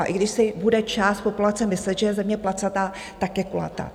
A i když si bude část populace myslet, že je Země placatá, tak je kulatá.